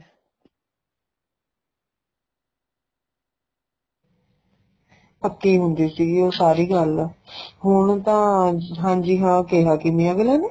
ਪੱਕੀ ਹੁੰਦੀ ਸੀ ਉਹ ਸਾਰੀ ਗੱਲ ਹੁਣ ਤਾਂ ਹਾਂਜੀ ਹਾਂ ਕਿਹਾ ਕਿੰਨੇ ਏ ਏਵੈ ਲੱਗਦਾ